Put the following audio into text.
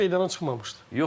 Futbolçu da meydana çıxmamışdı.